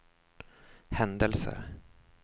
händelser